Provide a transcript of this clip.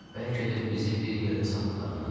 Bəlkə də bizi bir yerdə satdılar ana.